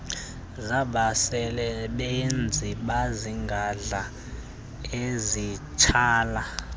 zabasebenzi bezigadla ezitsala